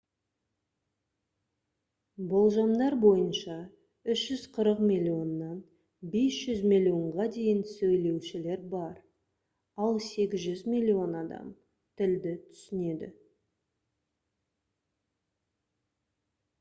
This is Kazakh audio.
болжамдар бойынша 340 миллионнан 500 миллионға дейін сөйлеушілер бар ал 800 миллион адам тілді түсінеді